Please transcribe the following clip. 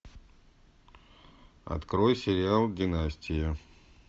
открой сериал династия